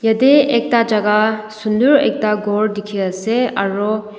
Deh ekta jaka sundur ekta ghor dekhe ase aro--